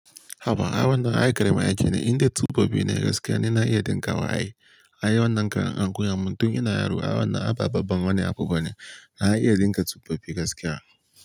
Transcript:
Haba, ai wannan ai karamin aiki ne, inda guda biyu ne gaskiya na iya dinka wa ai. Ai wannan ƙaran ankoya min tun ina yaro. Ai wannan aba babban wani abu bane. Na iya dinka tsofaffi gaskiya.